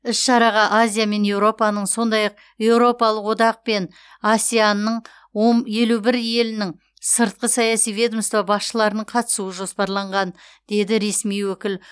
іс шараға азия мен еуропаның сондай ақ еуропалық одақ пен асеан ның он елу бір елінің сыртқы саяси ведомство басшыларының қатысуы жоспарланған деді ресми өкіл